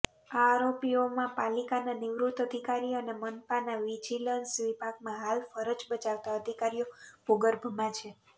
આ આરોપીઓમાં પાલિકાના નિવૃત્ત અધિકારી અને મનપાના વિજિલન્સ વિભાગમાં હાલ ફરજ બજાવતા અધિકારીઓ ભુગર્ભમાં છે